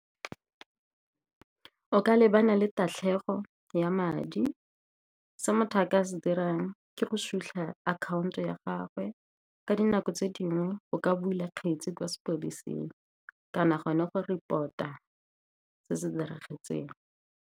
O ka lebana le tatlhego ya madi. Se motho a ka se dirang ke go sutlha akhaonto ya gagwe, ka dinako tse dingwe o ka bula kgetse kwa sepodising, kana gone go report-a se se diragetseng.